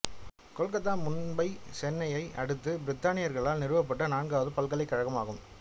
கொல்கத்தா மும்பை சென்னையை அடுத்து பிரித்தானியர்களால் நிறுவப்பட்ட நான்காவது பல்கலைக்கழகமாகும்